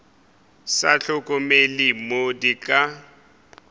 sa hlokomele mo di ka